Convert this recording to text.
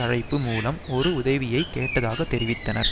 அழைப்பு மூலம் ஒரு உதவியை கேட்டதாக தெரிவித்தனர்